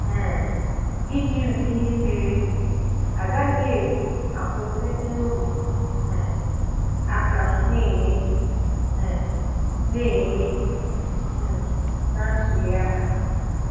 um Iji ụdị ihe merenụ agaghị akwụsị nrụrụ um aka na-eme um na-eme um na ntuli aka.